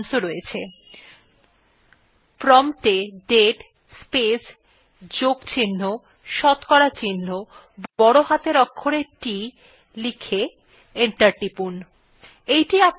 prompt এ date space যোগ চিহ্ন শতকরা চিহ্ন বড় হাতের অক্ষরে t লিখে enter টিপুন